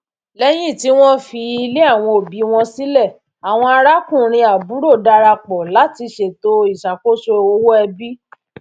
lẹyìn tí wọn fi ilé àwọn òbí wọn sílẹ àwọn arákùnrinàbúrò darapọ láti ṣètò ìṣakoso owó ẹbí